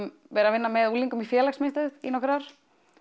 vera að vinna með unglingum í félagsmiðstöð í nokkur ár